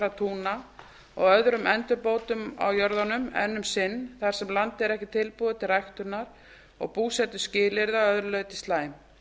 ónýtra túna og öðrum endurbótum á jörðunum enn um sinn þar sem landið er ekki tilbúið til ræktunar og búsetuskilyrði að öðru leyti slæm